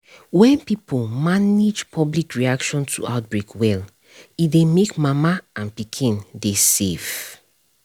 when pipo manage public reaction to outbreak well e dey make mama and pikin dey save